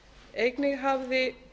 einnig hafði